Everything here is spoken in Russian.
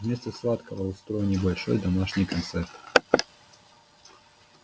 вместо сладкого устроим небольшой домашний концерт